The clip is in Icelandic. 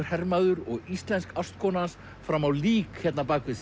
hermaður og íslensk ástkona hans fram á lík hérna bak við